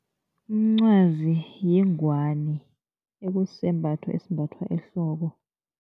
Umncwazi yingwani ekusisembatho esimbathwa ehloko.